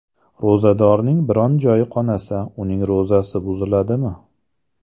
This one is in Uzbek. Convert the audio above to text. Ro‘zadorning biron joyi qonasa, uning ro‘zasi buziladimi?